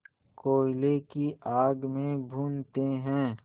कोयले की आग में भूनते हैं